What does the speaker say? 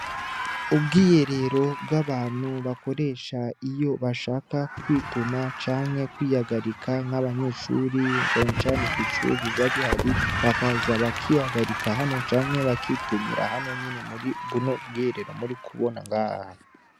Ubwiyerero bw'abantu bakoresha iyo bashaka kwituma canke kwiyagarika nk'abanyeshuri canecane kw'icuri babi hari bakaza bakiyagarika hano canke bakitumira hano nyene muri buno bwerero muri kubona ngare.